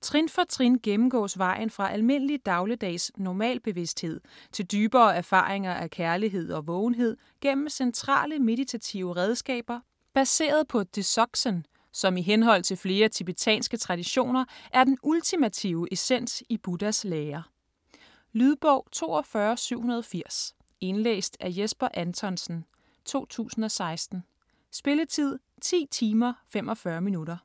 Trin for trin gennemgås vejen fra almindelig dagligdags normalbevidsthed til dybere erfaringer af kærlighed og vågenhed gennem centrale meditative redskaber baseret på dzogchen, som i henhold til flere tibetanske traditioner er den ultimative essens i Buddhas lære. Lydbog 42780 Indlæst af Jesper Anthonsen, 2016. Spilletid: 10 timer, 45 minutter.